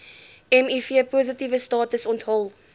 mivpositiewe status onthul